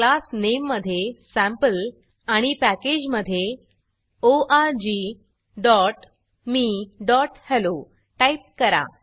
class नामे मधे sample आणि पॅकेज मधे orgmeहेल्लो टाईप करा